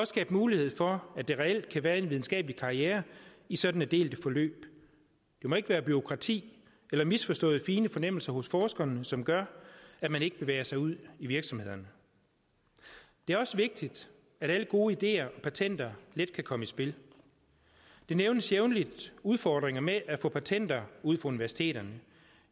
skabe mulighed for at der reelt kan være en videnskabelig karriere i sådanne delte forløb det må ikke være bureaukrati eller misforståede fine fornemmelser hos forskerne som gør at man ikke bevæger sig ud i virksomhederne det er også vigtigt at alle gode ideer og patenter let kan komme i spil der nævnes jævnligt udfordringer med at få patenter ud fra universiteterne